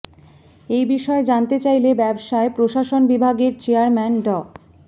এই বিষয়ে জানতে চাইলে ব্যবসায় প্রশাসন বিভাগের চেয়ারম্যান ড